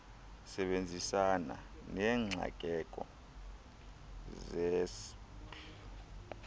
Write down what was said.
sebenzisana neengxakeko zesps